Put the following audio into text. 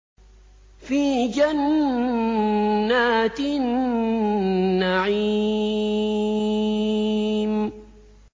فِي جَنَّاتِ النَّعِيمِ